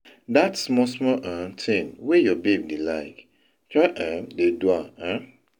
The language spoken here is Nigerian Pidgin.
dat smal smal um tin wey yur baby dey lyk, try um dey do am um